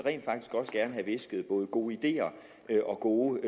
have hvisket både gode ideer og gode